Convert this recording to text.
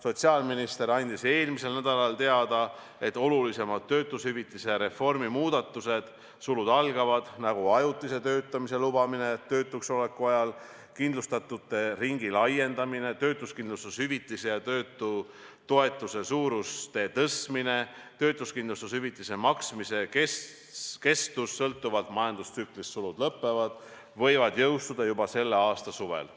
Sotsiaalminister andis eelmisel nädalal teada, et olulisemad töötushüvitiste reformi muudatused võivad jõustuda juba selle aasta suvel.